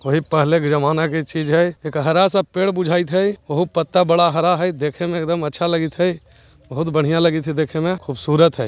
वही पहले के जमाने का चीज है एक हरा-सा पेड़ बुझाइत हेय ओहु पत्ता बड़ा हरा हेय देखे मे एकदम अच्छा लगएत हेय बहुत बढ़िया लगएत हेय देखे मे खूबसूरत हेय।